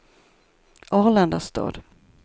Arlandastad